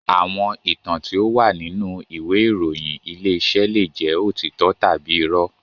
Àwọn ìtàn tí ó wà nínú ìwé ìròyìn Ilé-iṣẹ́ leè jẹ́ òtítọ́ tàbí irọ́